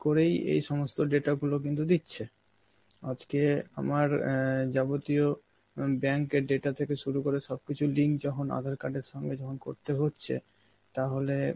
করেই এই সমস্ত data গুলো কিন্তু দিচ্ছে. আজকে আমার অ্যাঁ যাবতীয় উম bank এর data থেকে শুরু করে সবকিছুর link যখন আঁধার card এর সঙ্গে যখন করতে হচ্ছে তাহলে